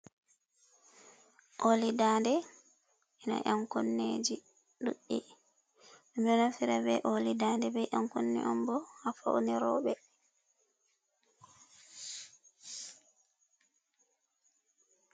Olidade a ankoneji duddi ominafira be olidade be an koni on bo ha fauniro ɓe.